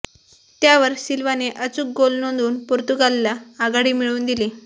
त्यावर सिल्वाने अचूक गोल नोंदवून पोर्तुगालला आघाडी मिळवून दिली